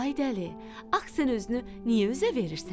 Ay dəli, ax sən özünü niyə üzə verirsən?